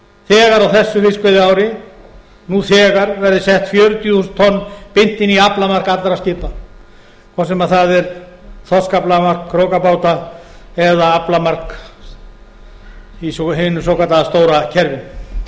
þegar á þessu fiskveiðiári nú þegar verði sett fjörutíu þúsund tonn beint inn í aflamark allra skipa hvort sem það er þorskaflamark krókabáta eða aflamark í hinu